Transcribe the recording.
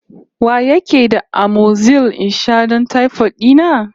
Wa yake da amoxil in sha don taifot dina?